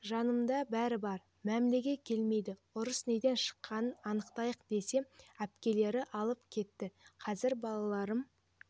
жанымда бәрі бар мәмілеге келмейді ұрыс неден шыққанын анықтайық десем әпкелері алып кетті қазір балаларым